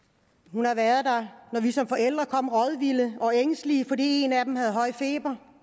hun har været der når vi som forældre kom rådvilde og ængstelige fordi en af dem havde høj feber